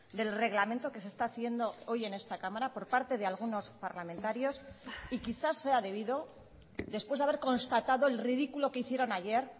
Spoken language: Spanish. del reglamento que se está haciendo hoy en esta cámara por parte de algunos parlamentarios y quizá sea debido después de haber constatado el ridículo que hicieron ayer